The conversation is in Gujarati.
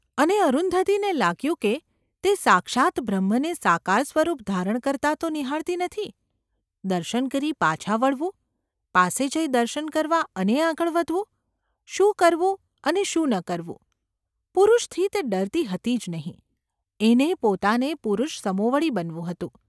અને અરુંધતીને લાગ્યું કે તે સાક્ષાત્ બ્રહ્મને સાકાર સ્વરૂપ ધારણ કરતા તો નિહાળતી નથી ? દર્શન કરી પાછા વળવું ? પાસે જઈ દર્શન કરવા અને આગળ વધવું ? શું કરવું અને શું ન કરવું ? પુરુષથી તે ડરતી હતી જ નહિં; એને પોતાને પુરુષસમોવડી બનવું હતું.